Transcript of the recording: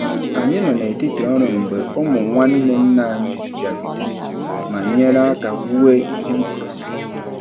Anyị nọ n'etiti ọrụ mgbe ụmụ nwanne nna anyị bịarutere ma nyere aka wuo ihe ngosi.